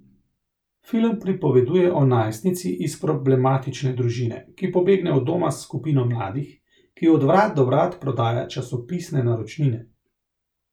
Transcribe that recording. Film pripoveduje o najstnici iz problematične družine, ki pobegne od doma s skupino mladih, ki od vrat do vrat prodaja časopisne naročnine.